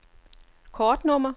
kortnummer